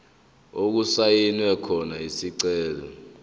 okusayinwe khona isicelo